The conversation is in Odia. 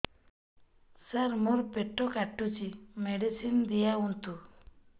ସାର ମୋର ପେଟ କାଟୁଚି ମେଡିସିନ ଦିଆଉନ୍ତୁ